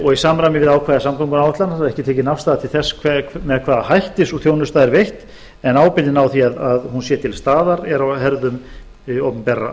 og í samræmi við ákvæði samgönguáætlana er ekki tekin afstaða til þess með hvaða hætti sú þjónusta er veitt en ábyrgðin á því að hún sé til staðar er á herðum opinberra